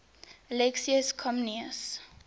alexius comnenus